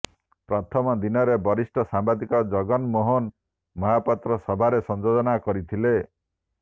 ପ୍ରଥମ ଦିନରେ ବରିଷ୍ଠ ସାମ୍ବାଦିକ ଜଗନ ମୋହନ ମହାପାତ୍ର ସଭାରେ ସଂଯୋଜନା କରିଥିଲେ